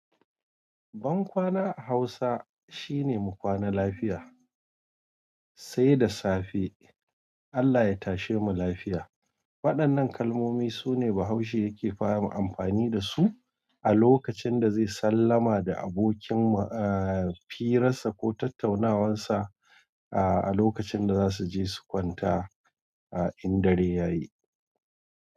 Bankwana a hausa shine mu kwana lafiya, seda safe, Allah ya tashe mu lafiya. Waɗannan kalmomi sune Bahaushe yake fara amfani da su. A lokacin da zai sallama da abokin, eh, firansa ko tattaunawansa a lokacin da za su je su kwanta, in dare ya yi.